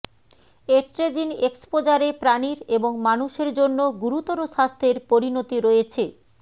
atrazine এক্সপোজারে প্রাণীর এবং মানুষের জন্য গুরুতর স্বাস্থ্যের পরিণতি রয়েছে